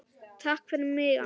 Takk fyrir mig, amma.